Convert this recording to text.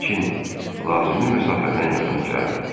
Lakin lazımi məsafədən yaxına gəlmədi.